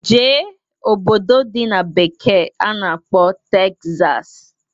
Jee obodo dị na bekee a na-akpọ Tegzas!